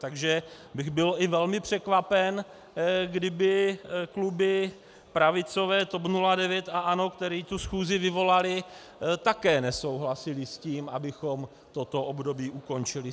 Takže bych byl i velmi překvapen, kdyby kluby pravicové, TOP 09 a ANO, které tu schůzi vyvolaly, také nesouhlasily s tím, abychom toto období ukončili.